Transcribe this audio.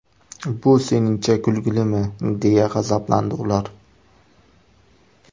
Bu seningcha kulgilimi?”, deya g‘azablandi ular.